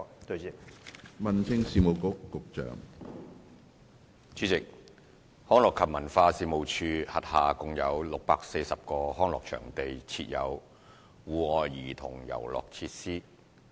主席，一及二康樂及文化事務署轄下共有640個康樂場地設有戶外兒童遊樂設施。